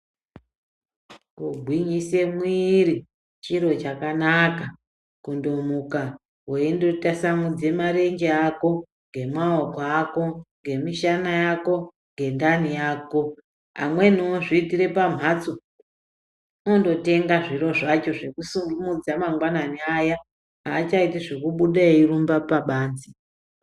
Kugwinyise mwiri chiro chakanaka kutomuka weindotasamudza marenje ako, ngemaoko ako, ngemishana yako, ngendani yako amweni ozviitire pamhatso unototenga zviro zvacho zvekusimudza mangwanani aya aachiti zvekubuda eirumba pabanzi